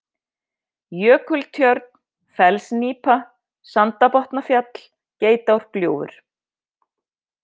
Jökultjörn, Fellsnípa, Sandabotnafjall, Geitárgljúfur